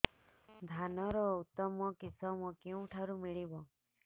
ଧାନର ଉତ୍ତମ କିଶମ କେଉଁଠାରୁ ମିଳିବ